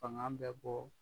Fanga bɛ bɔ